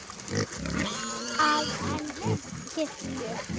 að en kirkju.